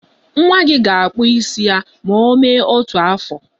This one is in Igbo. Nwa gị ga-akpụ isi ya ma o mee otu afọ.